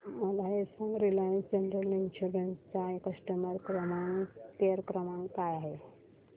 मला हे सांग रिलायन्स जनरल इन्शुरंस चा कस्टमर केअर क्रमांक काय आहे